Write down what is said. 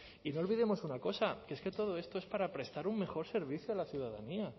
y no olvidemos una cosa que es que todo esto es para prestar un mejor servicio a la ciudadanía